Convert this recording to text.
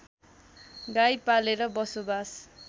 गाई पालेर बसोबास